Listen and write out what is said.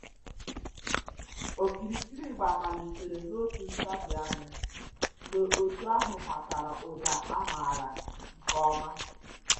Okirikiri ịgba malitere n'otu ntabi ányá mgbe otu ahụ matara ụda a maara nke ọma